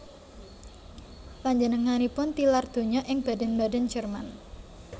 Panjenenganipun tilar donya ing Baden Baden Jerman